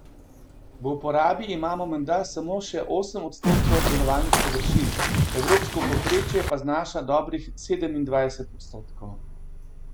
V uporabi imamo menda samo še osem odstotkov obdelovalnih površin, evropsko povprečje pa znaša dobrih sedemindvajset odstotkov.